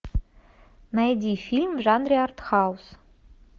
найди фильм в жанре артхаус